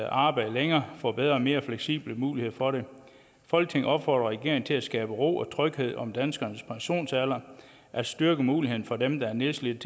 arbejde længere får bedre og mere fleksible muligheder for det folketinget opfordrer regeringen til at skabe ro og tryghed om danskernes pensionsalder at styrke muligheden for dem der er nedslidte